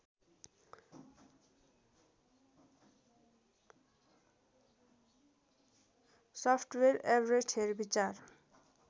software Everest हेरविचार